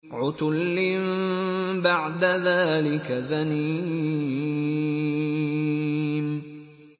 عُتُلٍّ بَعْدَ ذَٰلِكَ زَنِيمٍ